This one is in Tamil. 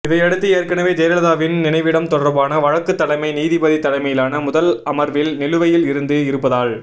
இதையடுத்து ஏற்கனவே ஜெயலலிதாவின் நினைவிடம் தொடர்பான வழக்கு தலைமை நீதிபதி தலைமையிலான முதல் அமர்வில் நிலுவையில் இருந்து இருப்பதால்